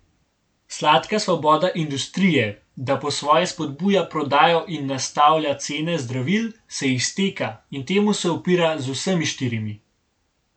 Sladka svoboda industrije, da po svoje spodbuja prodajo in nastavlja cene zdravil, se izteka, in temu se upira z vsemi štirimi.